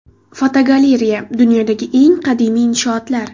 Fotogalereya: Dunyodagi eng qadimiy inshootlar.